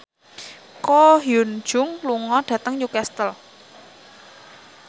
Ko Hyun Jung lunga dhateng Newcastle